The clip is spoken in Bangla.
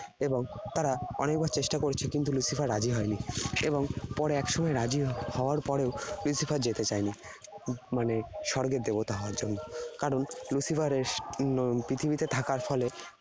এবং তারা অনেকবার চেষ্টা করেছে কিন্তু Lucifer রাজি হয়নি। এবং পরে একসময় রাজি হওয়ার পরেও Lucifer যেতে চায় নি উম মানে স্বর্গের দেবতা হওয়ার জন্য। কারণ Lucifer এর পৃথিবী তে থাকার ফলে